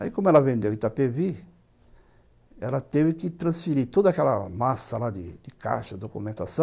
Aí, como ela vendeu em Itapevi, ela teve que transferir toda aquela massa lá de caixa, documentação,